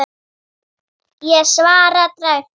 Ég svara dræmt.